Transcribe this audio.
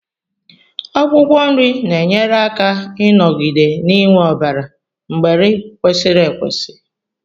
Akwụkwọ nri na-enyere aka ịnọgide n'iwe ọbara mgbali kwesiri ekwesi